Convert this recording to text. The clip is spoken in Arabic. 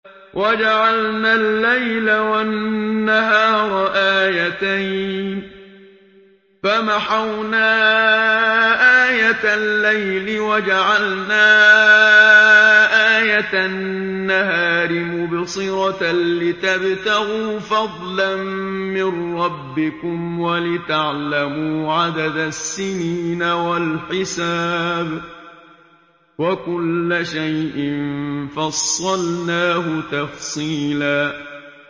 وَجَعَلْنَا اللَّيْلَ وَالنَّهَارَ آيَتَيْنِ ۖ فَمَحَوْنَا آيَةَ اللَّيْلِ وَجَعَلْنَا آيَةَ النَّهَارِ مُبْصِرَةً لِّتَبْتَغُوا فَضْلًا مِّن رَّبِّكُمْ وَلِتَعْلَمُوا عَدَدَ السِّنِينَ وَالْحِسَابَ ۚ وَكُلَّ شَيْءٍ فَصَّلْنَاهُ تَفْصِيلًا